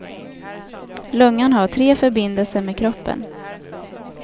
Lungan har tre förbindelser med kroppen.